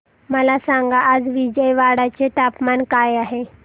मला सांगा आज विजयवाडा चे तापमान काय आहे